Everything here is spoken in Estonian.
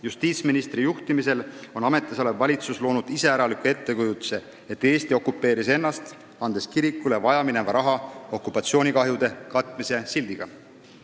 Justiitsministri juhtimisel on ametisolev valitsus loonud iseäraliku ettekujutuse, et Eesti okupeeris ennast, andes kirikule vajamineva raha okupatsioonikahjude katmise sildi all.